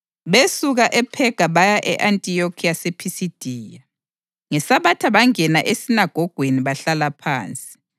Besuka ePhega baya e-Antiyokhi yasePhisidiya. NgeSabatha bangena esinagogweni bahlala phansi.